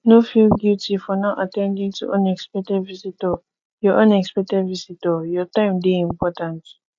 no feel guilty for not at ten ding to unexpected visitor your unexpected visitor your time dey important